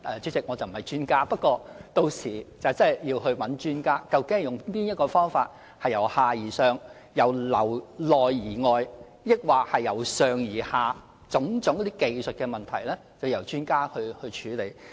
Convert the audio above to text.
主席，我不是專家，屆時真的要讓專家看看究竟是由下而上、由內而外還是由上而下哪種方法來處理種種技術的問題。